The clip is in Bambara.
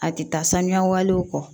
A tɛ taa saniya walew kɔ